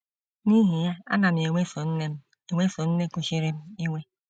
N’ihi ya, ana m eweso nne m eweso nne kuchiri m iwe.